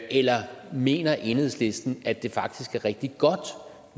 eller mener enhedslisten at det faktisk er rigtig godt at